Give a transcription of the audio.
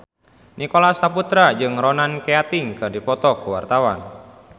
Nicholas Saputra jeung Ronan Keating keur dipoto ku wartawan